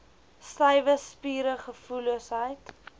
stywe spiere gevoelloosheid